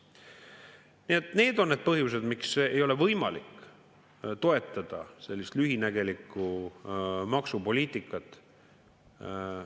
Nii et need on need põhjused, miks ei ole võimalik toetada sellist lühinägelikku maksupoliitikat.